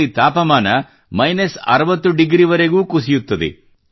ಇಲ್ಲಿ ತಾಪಮಾನ minus 60 degree Celsius ವರೆಗೂ ಕುಸಿಯುತ್ತದೆ